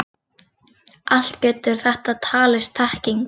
Allt getur þetta talist þekking.